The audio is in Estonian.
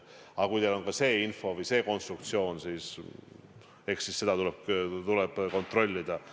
Aga kui teil on ka see info või see konstruktsioon, eks siis seda tuleb kontrollida.